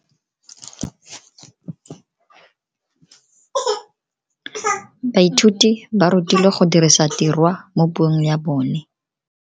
Baithuti ba rutilwe go dirisa tirwa mo puong ya bone.